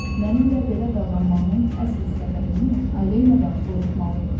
Mənimlə belə davranmağının əsl səbəbini Aleyanadan soruşmalıydım.